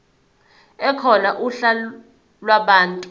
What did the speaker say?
ekhona uhla lwabantu